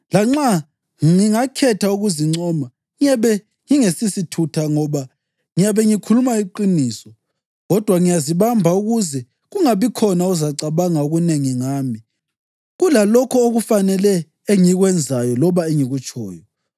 Lanxa ngingakhetha ukuzincoma, ngiyabe ngingesisithutha ngoba ngiyabe ngikhuluma iqiniso. Kodwa ngiyazibamba ukuze kungabikhona ozacabanga okunengi ngami kulalokho okufanele engikwenzayo loba engikutshoyo.